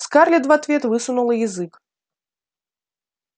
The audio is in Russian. скарлетт в ответ высунула язык